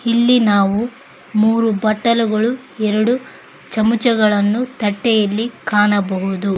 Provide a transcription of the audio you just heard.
ಇಲ್ಲಿ ನಾವು ಮೂರು ಬಟ್ಟಲುಗಳು ಎರಡು ಚಮಚಗಳನ್ನು ತಟ್ಟೆಯಲ್ಲಿ ಕಾಣಬಹುದು.